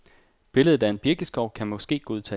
Billedet af en birkeskov kan måske godtages.